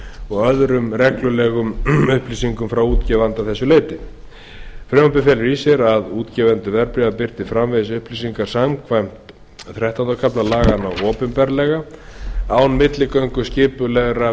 og öðrum reglulegum upplýsingum frá útgefanda að þessu leyti frumvarpið felur því í sér að útgefendur verðbréfa birti framvegis upplýsingar samkvæmt þrettánda kafla laganna opinberlega án milligöngu skipulegra